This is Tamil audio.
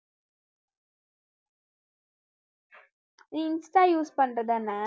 நீ insta use பண்ற தான